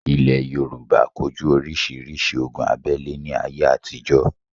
Ilẹ̀ Yorùbá ko jú orísirísi ogun abẹ́le ní ayé àtijọ́